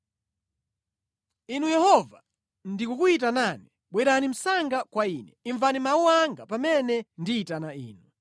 Inu Yehova ndikukuyitanani; bwerani msanga kwa ine. Imvani mawu anga pamene ndiyitana Inu.